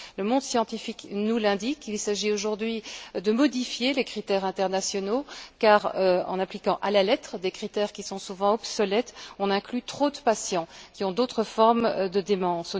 Le monde scientifique nous l'indique il s'agit aujourd'hui de modifier les critères internationaux car, en appliquant à la lettre des critères souvent obsolètes, on inclut trop de patients qui ont d'autres formes de démence.